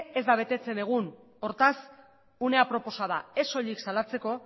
ez da betetzen egun hortaz une aproposa da ez soilik salatzeko